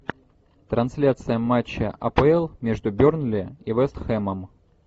трансляция матча апл между бернли и вест хэмом